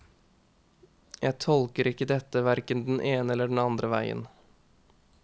Jeg tolker ikke dette hverken den ene eller den andre veien.